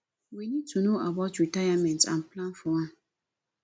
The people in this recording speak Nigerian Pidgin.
we need to know about retirement and plan for am